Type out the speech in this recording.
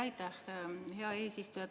Aitäh, hea eesistuja!